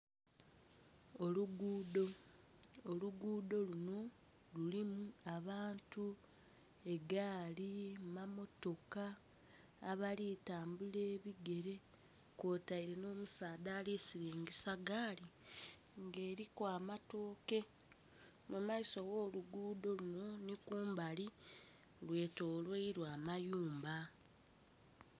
Oluguudo, oluguudo lunho lulimu abantu, egaali, mammotoka, abali tambula ebigere kwotaire nho musaadha ali silingisa gaali nga eriku amatoke. Mu maiso gho lugudho lunho nhinkumbali, lwe tolwairwa amayumba.